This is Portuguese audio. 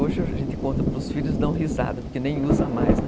Hoje a gente conta para os filhos e dão risada, porque nem usa mais, né?